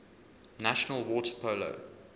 national water polo